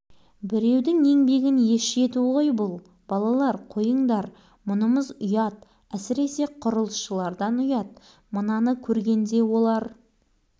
мына үйдің балалары тәртіпсіз екендейді тоқтатыңдар келіңдер қайта мына ізді қайтадан тепкілеп көмейік мынау не деп